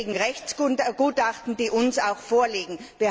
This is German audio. Das belegen Rechtsgutachten, die uns auch vorliegen.